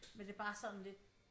Men det er bare sådan lidt